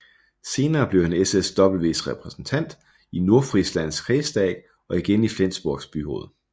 Senere blev han SSWs represntant i Nordfrislands kredsdag og igen i Flensborgs byråd